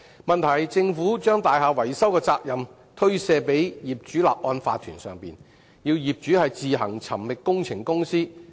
問題是，政府把大廈維修的責任推卸予業主立案法團，要業主自行尋覓工程公司。